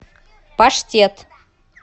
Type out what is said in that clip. паштет